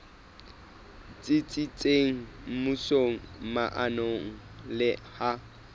tsitsitseng mmusong maemong le ha